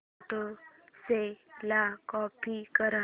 photos ला copy कर